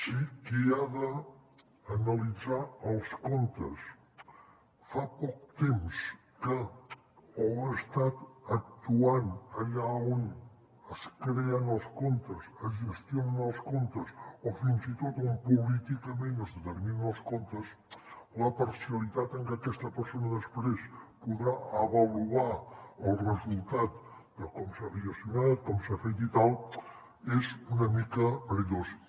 si qui ha d’analitzar els comptes fa poc temps que o ha estat actuant allà on es creen els comptes es gestionen els comptes o fins i tot on políticament es determinen els comptes la parcialitat amb què aquesta persona després podrà avaluar el resultat de com s’ha gestionat com s’ha fet i tal és una mica perillosa